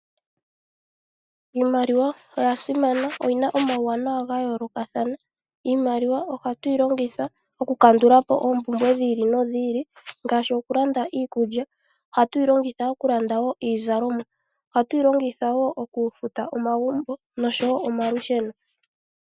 Iimaliwa oya simana, oyina omawanawa gaayolokathana. Iimaliwa oha tu yilongitha okukandulapo oompumbwe dhiili nodhiili, ngaashi okulanda iikulya. Oha tu yilongitha okulanda wo iizalomwa. Oha tu yilongitha okufuta wo omagumbo noshowo omalusheno.